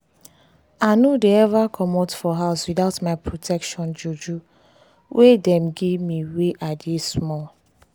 i no dey ever commot for house without my protection juju we dem give me wen i dey small.